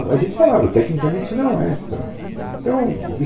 U a gente falava, tecnicamente, não é esta, então